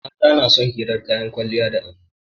Mata na son hirar kayan kwalliya da ado